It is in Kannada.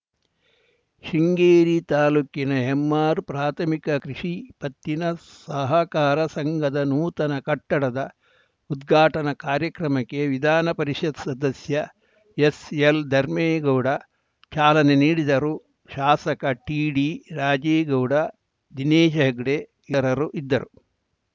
ಶೃಂಗೇರಿ ತಾಲೂಕಿನ ನೆಮ್ಮಾರು ಪ್ರಾಥಮಿಕ ಕೃಷಿ ಪತ್ತಿನ ಸಹಕಾರ ಸಂಘದ ನೂತನ ಕಟ್ಟಡದ ಉದ್ಘಾಟನಾ ಕಾರ್ಯಕ್ರಮಕ್ಕೆ ವಿಧಾನ ಪರಿಷತ್‌ ಸದಸ್ಯ ಎಸ್‌ಎಲ್‌ಧರ್ಮೇಗೌಡ ಚಾಲನೆ ನೀಡಿದರು ಶಾಸಕ ಟಿಡಿರಾಜೇಗೌಡ ದಿನೇಶ್‌ ಹೆಗ್ಡೆ ಇತರರು ಇದ್ದರು